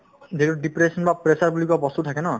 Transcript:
যিটো depression বা pressure বুলি কোৱা বস্তু থাকে ন